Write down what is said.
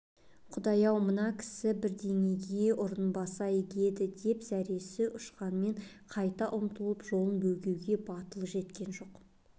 құдайым-ау мына кісі бірдеңеге ұрынбаса игі еді деп зәресі ұшқанмен қайта ұмтылып жолын бөгеуге батылы жеткен жоқ